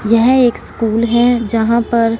यह एक स्कूल है जहां पर--